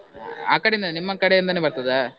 ಆ ಕಡೆ bgSpeach ಇಂದ, ನಿಮ್ಮ ಕಡೆಯಿಂದಾನೆ ಬರ್ತದ?